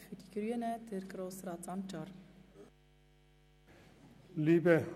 Für die Grünen hat Grossrat Sancar das Wort.